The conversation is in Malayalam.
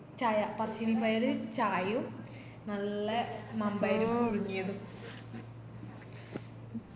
ചായ പറശ്ശിനി പോയാലോ ചായയും നല്ല മമ്പയറും പുയുങ്ങിയതും